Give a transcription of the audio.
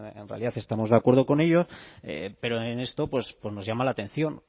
en realidad estamos de acuerdo con ello pero en esto pues nos llama la atención